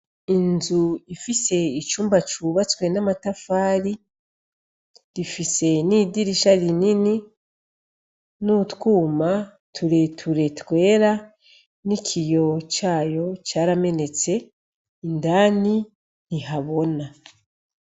Inzu ifise icumba cubatswe n'amatafari , rifise nidirisha rinini , n'utwuma tureture twera, n'ikiyo cayo caramenetse , indani ntihabona .